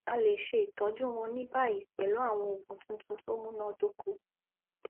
a lè ṣe ìtọjú wọn ní báyìí pẹlú àwọn òògùn tuntun tó múnádóko